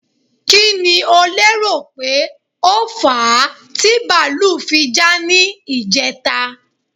Kí ni o lérò pé ó fà á ti bàlúù fi já ní ìjẹta?